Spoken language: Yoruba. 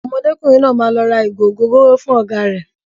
Ọmọdékùnrin náà máa lọ ra ìgò ògóróró fún ọ̀gá rẹ̀.